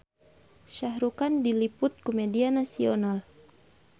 Shah Rukh Khan diliput ku media nasional